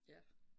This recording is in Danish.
Ja